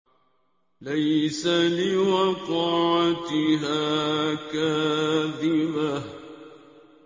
لَيْسَ لِوَقْعَتِهَا كَاذِبَةٌ